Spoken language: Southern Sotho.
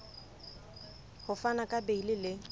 ho fana ka beile le